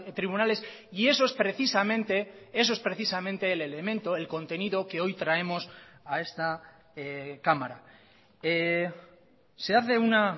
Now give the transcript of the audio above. tribunales y eso es precisamente eso es precisamente el elemento el contenido que hoy traemos a esta cámara se hace una